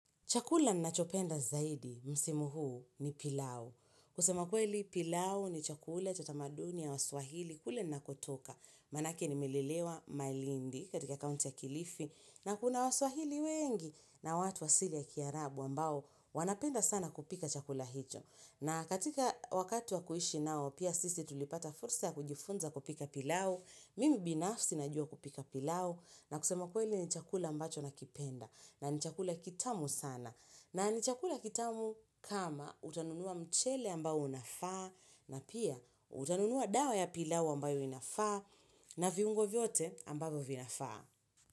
Chakula nina chopenda zaidi, msimu huu ni pilau. Kusema kweli pilau ni chakula cha tamaduni ya waswahili kule nakotoka. Manake ni melelewa malindi katika kaunti ya kilifi na kuna waswahili wengi na watu wa asili ya kiarabu ambao wanapenda sana kupika chakula hicho. Na katika wakati wa kuishi nao, pia sisi tulipata fursa ya kujifunza kupika pilau. Mimi binafsi najua kupika pilau na kusema kweli ni chakula ambacho nakipenda. Na nichakula kitamu sana. Na nichakula kitamu kama utanunua mchele ambao unafaa na pia utanunua dawa ya pilau ambayo inafaa na viungo vyote ambavyo vinafaa.